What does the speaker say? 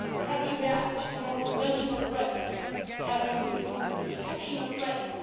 stakeholders. We have to react to non conventional threats and to improve the detection